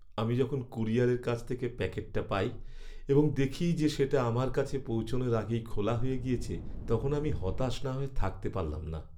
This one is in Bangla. আমি যখন কুরিয়ারের কাছ থেকে প্যাকেটটা পাই এবং দেখি যে সেটা আমার কাছে পৌঁছানোর আগেই খোলা হয়ে গিয়েছে, তখন আমি হতাশ না হয়ে থাকতে পারলাম না।